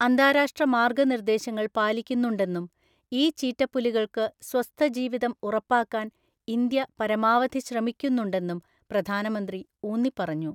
അന്താരാഷ്ട്ര മാര്‍ഗ്ഗനിര്‍ദ്ദേശങ്ങള്‍ പാലിക്കുന്നുണ്ടെന്നും ഈ ചീറ്റപ്പുലികൾക്കു സ്വസ്ഥജീവിതം ഉറപ്പാക്കാൻ ഇന്ത്യ പരമാവധി ശ്രമിക്കുന്നുണ്ടെന്നും പ്രധാനമന്ത്രി ഊന്നിപ്പറഞ്ഞു.